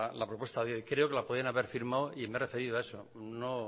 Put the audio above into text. la propuesta de hoy creo que la podían haber firmado y me he referido a eso